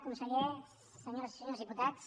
conseller senyores i senyors di·putats